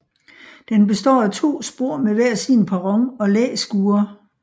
Den består af to spor med hver sin perron og læskure